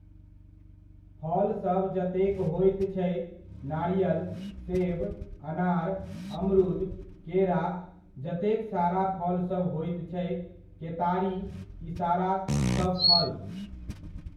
फलसभ जतेक होइत छै नारियल, सेब, अनार, अमरूद, केरा जतेक सारा फलसभ होइत छै केतारी, ई सारा सभफल।